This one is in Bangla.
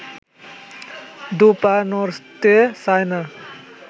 দু’পা নড়তে চায় না